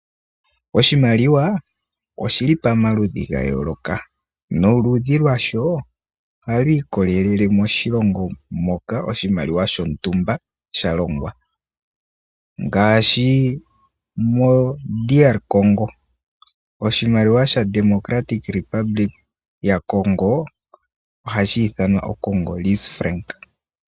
Oshimaliwa oshili pamaludhi gayooloka noludhi lwasho ohalwiikolele moshilongo moka. Oshimaliwa shontumba shalongwa ngaashi mo DR Congo oshimaliwa sha Democratic Republic ya Congo ohashiithanwa OCongoris Frank.